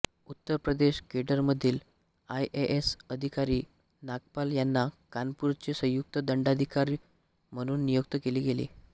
उत्तर प्रदेश केडरमधील आयएएस अधिकारी नागपाल यांना कानपूरचे संयुक्त दंडाधिकारी म्हणून नियुक्त केले आहे